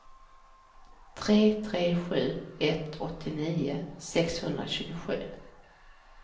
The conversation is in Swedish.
tre tre sju ett åttionio sexhundratjugosju